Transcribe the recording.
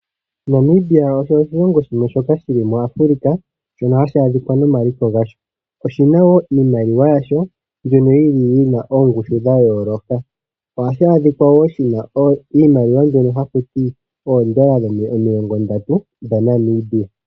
Namibia osho oshilongo shimwe shoka shili muAfrica, shono hashi adhika nomaliko gasho. Oshina woo iimaliwa yasho mbyono yili yina oongushu dha yooloka. Ohashi adhika woo shina iimaliwa mbyono hakuti oondola 30 dhaNamibia.